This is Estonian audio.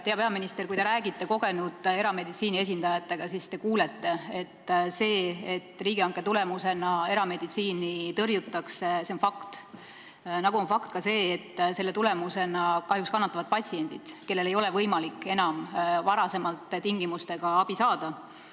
Hea peaminister, kui te räägite kogenud erameditsiini esindajatega, siis te kuulete, et see, et riigihanke tulemusena erameditsiini tõrjutakse, on fakt, nagu on fakt ka see, et selle tulemusena kahjuks kannatavad patsiendid, kellel ei ole võimalik enam endistel tingimustel abi saada.